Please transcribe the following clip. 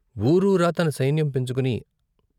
వూరూరా తన సైన్యం పెంచుకుని.